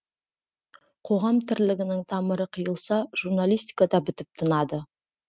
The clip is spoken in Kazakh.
қоғам тірлігінің тамыры қиылса журналистика да бітіп тынады